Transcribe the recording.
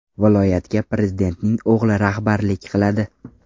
Viloyatga prezidentning o‘g‘li rahbarlik qiladi.